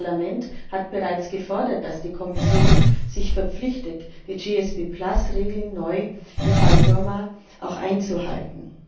Das Parlament hat bereits gefordert, dass die Kommission sich verpflichtet, die GSB Regeln neu im Fall Birma auch einzuhalten.